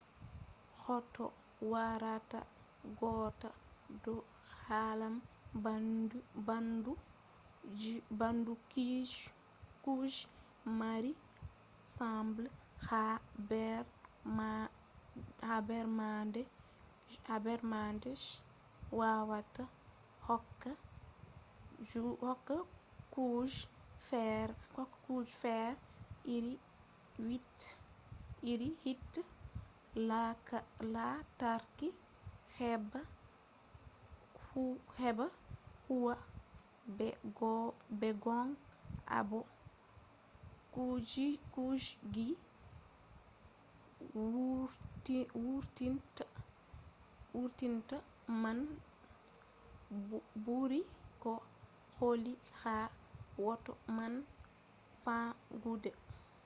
hoto warata gotta ɗo hollan ɓandu kuje mari sembe ha nder maɓɓe je wawata hokka kuje fere iri hite lantarki heɓa huwa. be gong abo kujeji wurtinta man ɓuri ko holli ha hoto man famɗugo